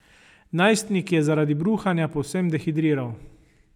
Najstnik je zaradi bruhanja povsem dehidriral.